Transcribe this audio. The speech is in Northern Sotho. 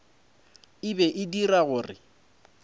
e be e dira gore